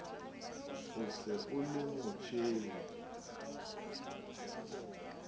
o se o le motjheng